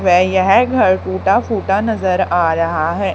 वे यह घर टुटा फुटा नजर आ रहा है।